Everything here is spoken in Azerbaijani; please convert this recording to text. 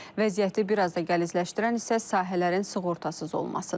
Vəziyyəti bir az da gəlizləşdirən isə sahələrin sığortasız olmasıdır.